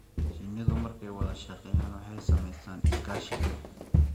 Shinnidu markay wada shaqeeyaan, waxay samaystaan ??iskaashi dhow.